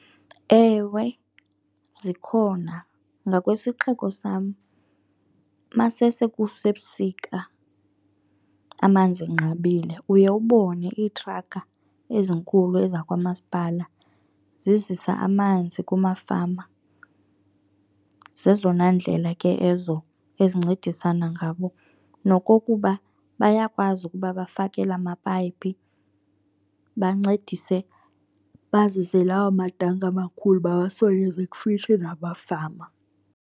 Ewe, zikhona. Ngakwisixeko sam masese kusebusika amanzi enqabile uye ubone iitrakha ezinkulu ezakwamasipala zizisa amanzi kumafama. Zezona ndlela ke ezo ezincedisana ngabo. Nokokuba bayakwazi ukuba bafakele amapayipi, bancedise bazise lawa matanki amakhulu bawasondeze kufitshi nabafama.